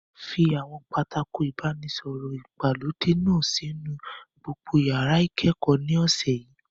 Fi àwọn pátákó ìbánisọ̀rọ̀ ìgbàlódé náà sínú gbogbo yàrá ìkẹ́kọ̀ọ́ ní ọ̀sẹ̀ yìí!